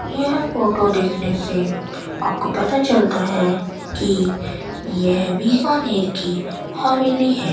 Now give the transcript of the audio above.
यह फोटो देखने से आपको पता चलता है कि यह बीकानेर की हवेली है।